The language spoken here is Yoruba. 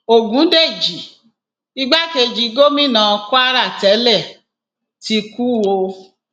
ọgùndẹjì igbákejì gómìnà kwara tẹlẹ ti kú o